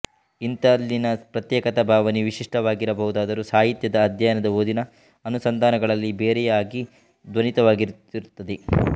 ಇಂತಲ್ಲಿನ ಪ್ರತ್ಯೇಕತಾ ಭಾವನೆಯು ವಿಶಿಷ್ಠವಾಗಿರಬಹುದಾದರೂ ಸಾಹಿತ್ಯದ ಅಧ್ಯಯನ ಓದಿನ ಅನುಸಂಧಾನಗಳಲ್ಲಿ ಬೇರೆಯೇ ಆಗಿ ಧ್ವನಿತವಾಗುತ್ತಿರುತ್ತದೆ